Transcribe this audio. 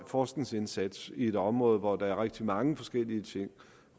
forskningsindsats i et område hvor der er rigtig mange forskellige ting